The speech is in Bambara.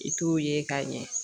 I t'o ye ka ɲɛ.